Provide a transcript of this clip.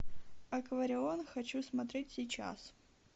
акварион хочу смотреть сейчас